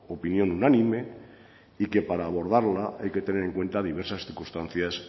opinión unánime y que para abordarla hay que tener en cuenta diversas circunstancias